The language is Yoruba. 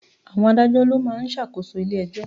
Àwọn Adájọ́ ló ma ń ṣàkóso ilé ẹjọ́.